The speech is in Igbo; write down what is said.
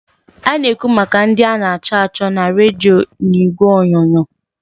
A na-ekwu maka ndị a na-achọ achọ na redio n'igwe onyonyo.